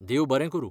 देव बरें करूं!